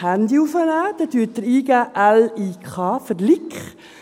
Dann geben Sie l, i, k ein, für Lik.